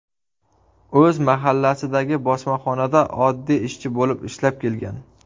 O‘z mahallasidagi bosmaxonada oddiy ishchi bo‘lib ishlab kelgan.